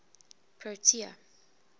protea